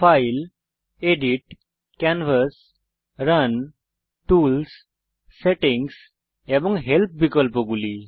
file edit canvas run tools settings এবং help বিকল্পগুলি